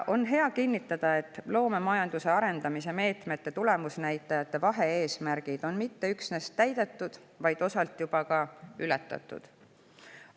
On hea kinnitada, et loomemajanduse arendamise meetmete tulemusnäitajate vahe-eesmärgid on mitte üksnes täidetud, vaid osalt juba ka ületatud.